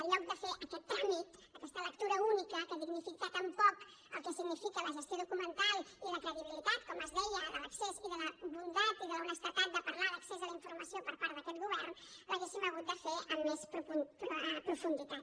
en lloc de fer aquest tràmit aquesta lectura única que dignifica tan poc el que significa la gestió documental i la credibilitat com es deia de l’accés i de la bondat i de l’honestedat de parlar d’accés a la informació per part d’aquest govern l’hauríem hagut de fer amb més profunditat